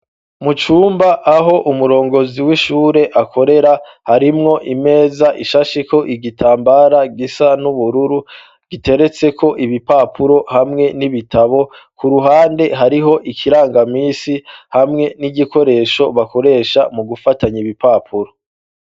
Mu cumba aho umurongozi w'ishure akorera harimwo imeza ishasheko igitambara gisa n'ubururu giteretseko ibipapuro hamwe n'ibitabo ku ruhande hariho ikirangamisi hamwe n'igikoresho bakoresha mu gufatanya ibipapuro.